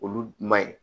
Olu ma ɲi